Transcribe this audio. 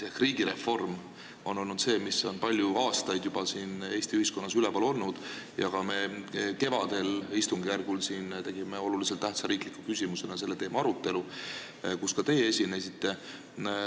Riigireform on juba palju aastaid Eesti ühiskonnas üleval olnud ja kevadistungjärgul me tegime olulise tähtsusega riikliku küsimusena selle teema arutelu, kus ka teie esinesite.